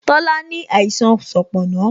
Tola ní àìsàn sanponna